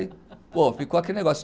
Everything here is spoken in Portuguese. Ficou aquele negócio.